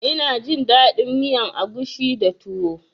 Ina jin daɗin miyan agushi da tuwo